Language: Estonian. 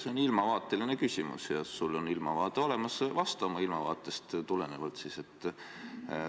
See on ilmavaateline küsimus ja sul on ilmavaade olemas, vasta siis oma ilmavaatest tulenevalt.